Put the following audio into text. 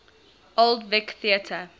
old vic theatre